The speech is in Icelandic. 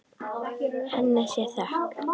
Henni sé þökk.